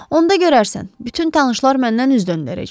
Onda görərsən, bütün tanışlar məndən üz döndərəcək.